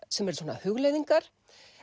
sem eru svona hugleiðingar